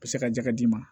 U bɛ se ka jɛgɛ d'i ma